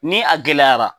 Ni a gɛlɛyara